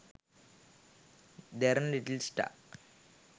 derana little star